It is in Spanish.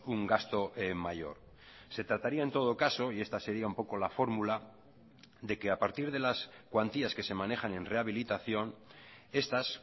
un gasto mayor se trataría en todo caso y esta sería un poco la fórmula de que a partir de las cuantías que se manejan en rehabilitación estas